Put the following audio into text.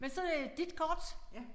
Men så det dit kort